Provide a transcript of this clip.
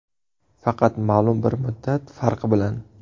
Faqat ma’lum bir muddat farqi bilan.